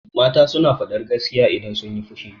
Mata suna faɗar gaskiya idan sunyi fushi.